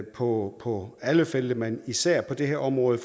på på alle felter men især på det her område